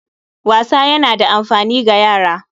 Wasa yana da amfani ga yara